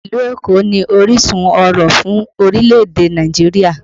Ìlú Èkó ni orísun ọ̀rọ̀ fún orílẹ̀ èdè Nàìjíríà